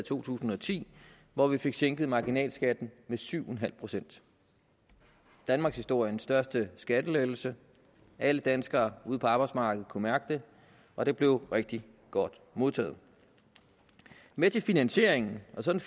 to tusind og ti hvor vi fik sænket marginalskatten med syv en halv pct danmarkshistoriens største skattelettelse alle danskere ude på arbejdsmarkedet kunne mærke det og det blev rigtig godt modtaget med til finansieringen og sådan